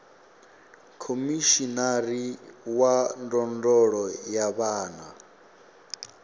khomishinari wa ndondolo ya vhana